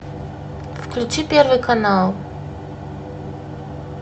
включи первый канал